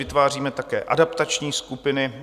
Vytváříme také adaptační skupiny.